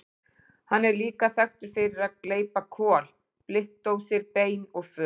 Hann er líka þekktur fyrir að gleypa kol, blikkdósir, bein og föt.